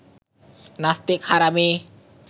নাস্তিক হারামি